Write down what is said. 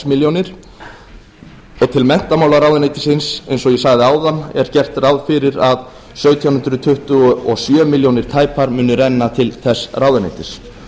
milljónir og til menntamálaráðuneytisins eins og ég sagði áðan er gert ráð fyrir að sautján hundruð tuttugu og sjö milljónir tæpar muni renna til þess ráðuneytis